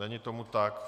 Není tomu tak.